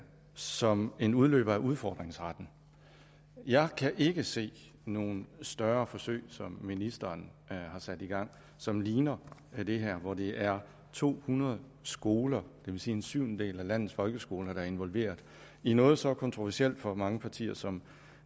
som en udløber af udfordringsretten jeg kan ikke se nogen større forsøg som ministeren har sat i gang som ligner det her hvor det er to hundrede skoler det vil sige en syvendedel af landets folkeskoler der er involveret i noget så kontroversielt for mange partier som